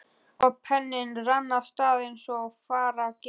Og penninn rann af stað eins og fara gerir.